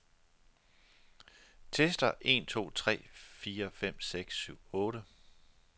Tester en to tre fire fem seks syv otte.